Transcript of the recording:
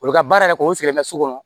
U bɛ ka baara yɛrɛ kɛ o sigilen bɛ so kɔnɔ